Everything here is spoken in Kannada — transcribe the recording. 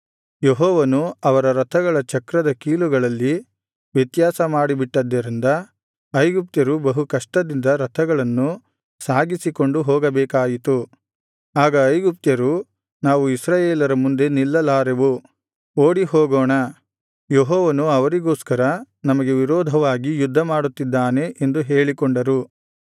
ಯೆಹೋವನು ಅವರ ರಥಗಳ ಚಕ್ರದ ಕೀಲುಗಳಲ್ಲಿ ವ್ಯತ್ಯಾಸ ಮಾಡಿಬಿಟ್ಟದ್ದರಿಂದ ಐಗುಪ್ತರು ಬಹು ಕಷ್ಟದಿಂದ ರಥಗಳನ್ನು ಸಾಗಿಸಿಕೊಂಡು ಹೋಗಬೇಕಾಯಿತು ಆಗ ಐಗುಪ್ತ್ಯರು ನಾವು ಇಸ್ರಾಯೇಲರ ಮುಂದೆ ನಿಲ್ಲಲಾರೆವು ಓಡಿ ಹೋಗೋಣ ಯೆಹೋವನು ಅವರಿಗೋಸ್ಕರ ನಮಗೆ ವಿರೋಧವಾಗಿ ಯುದ್ಧಮಾಡುತ್ತಿದ್ದಾನೆ ಎಂದು ಹೇಳಿಕೊಂಡರು